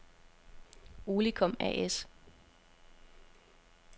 Olicom A/S